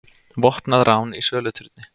Vopnað rán í söluturni